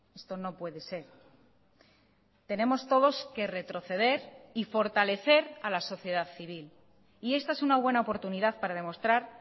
esto no puede ser tenemos todos que retroceder y fortalecer a la sociedad civil y esta es una buena oportunidad para demostrar